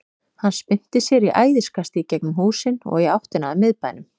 Hann spyrnti sér í æðiskasti í gegnum húsin og í áttina að miðbænum.